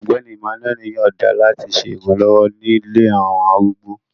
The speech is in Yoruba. Ọgbẹni Emmanuel yọọda lati ṣe iranlọwọ ni ilé awọn arúgbó